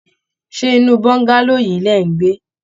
Ṣé inú bongalow yií lẹ̀ ń gbé?